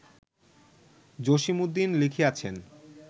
Jasimuddin লিখিয়াছেন